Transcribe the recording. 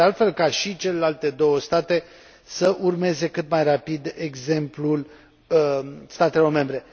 sper, de altfel, ca și celelalte două state să urmeze cât mai rapid exemplul statelor membre.